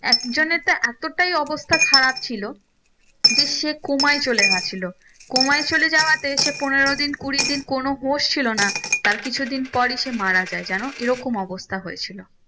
এক জনের তো এতটাই অবস্থা খারাপ ছিলো যে সে coma য় চলে গেছিলো coma য় চলে যাওয়াতে সে পনেরো দিন কুড়ি দিন কোনো হুশ ছিলো না তার কিছু দিন পরই সে মারা যায় জানো এরকম অবস্থা হয়েছিলো